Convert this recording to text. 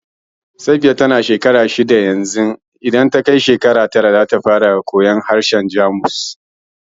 Safiya ta na shekara shidda yanzu, za ta fara koyar harshen Jamus in ta kai tara